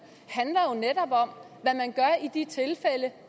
handler jo netop om hvad man gør i de tilfælde